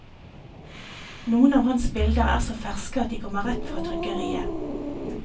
Noen av hans bilder er så ferske at de kommer rett fra trykkeriet.